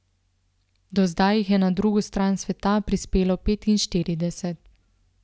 Do zdaj jih je na drugo stran sveta prispelo petinštirideset.